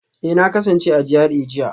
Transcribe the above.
Eh na kasance a GRA jiya